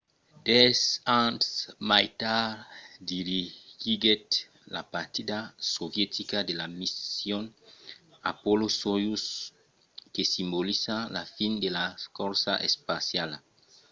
dètz ans mai tard dirigiguèt la partida sovietica de la mission apollo-soyouz que simbolizava la fin de la corsa espaciala